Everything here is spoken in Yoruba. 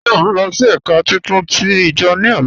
Ṣé ọ nlọ sí èká títún tí ijo ni ọlá?